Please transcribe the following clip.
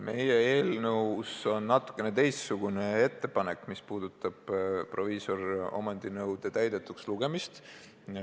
Meie eelnõus on natukene teistsugune ettepanek, mis puudutab proviisoriomandi nõude täidetuks lugemist.